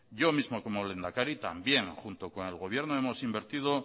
yo mismo como lehendakari también junto con el gobierno hemos invertido